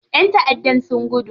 ƴan taʼaddan sun gudu.